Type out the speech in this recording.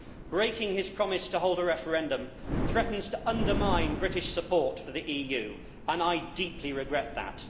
Breaking his promise to hold a referendum threatens to undermine British support for the EU and I deeply regret that.